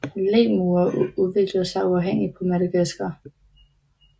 Lemurer udviklede sig uafhængigt på Madagaskar